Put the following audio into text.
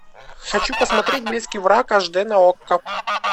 хочу посмотреть близкий враг аш дэ на окко